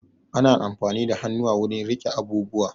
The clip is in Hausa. Ana amfani da hannuwa wurin riƙe abubuwa